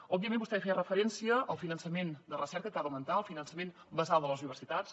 òbviament vostè feia referència al finançament de recerca que ha d’augmentar al finançament basal de les universitats